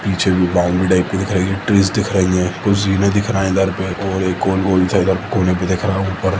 पीछे कु boundary type की दिख रही है ट्रीस दिखाई दे रही हैकुर्सी भी दिख रहा हैइधर पे और एक गोल-गोल सा कोने पे दिख रहा ऊपर--